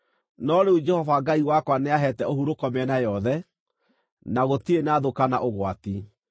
No rĩu Jehova Ngai wakwa nĩaheete ũhurũko mĩena yothe, na gũtirĩ na thũ kana ũgwati.